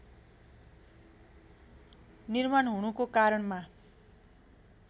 निर्माण हुनुको कारणमा